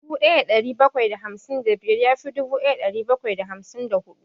Dubu ɗaya da ɗari bakwai da hamsin da biyar ya fi dubu ɗaya da ɗari bakwai da hamsin da huɗu